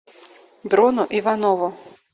дрону иванову